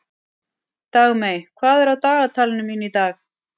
Dagmey, hvað er á dagatalinu mínu í dag?